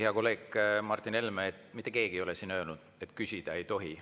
Hea kolleeg Martin Helme, mitte keegi ei ole siin öelnud, et küsida ei tohi.